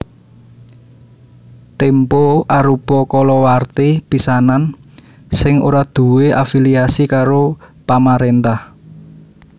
Tempo arupa kalawarti pisanan sing ora duwé afiliasi karo pamaréntah